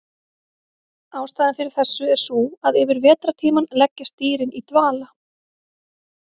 Ástæðan fyrir þessu er sú að yfir vetrartímann leggjast dýrin í dvala.